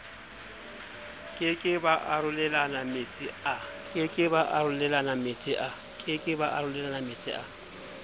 ke ke ba arolelanametsi a